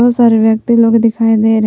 बहुत सारे व्यक्ति लोग दिखाई दे रहे--